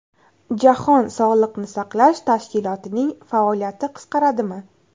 Jahon sog‘liqni saqlash tashkilotining faoliyati qisqaradimi?